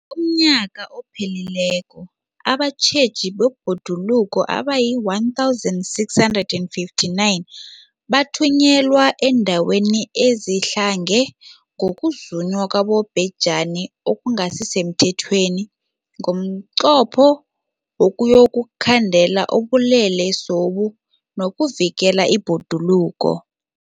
UmNnyaka ophelileko abatjheji bebhoduluko abayi-1 659 bathunyelwa eendaweni ezidlange ngokuzunywa kwabobhejani okungasi semthethweni ngomnqopho wokuyokukhandela ubulelesobu nokuvikela ibhoduluko.